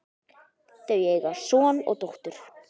Þau eiga son og dóttur.